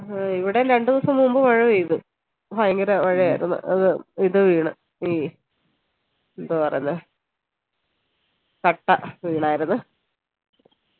ഇവിടെ രണ്ട് ദിവസം മുമ്പ് മഴ പെയ്തു ഭയങ്കര മഴയായിരുന്നു അത് ഇത് വീണു എന്തുവാ പറയുന്നേ വീണായിരുന്നു